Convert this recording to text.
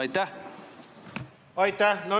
Aitäh!